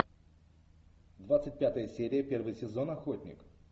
двадцать пятая серия первый сезон охотник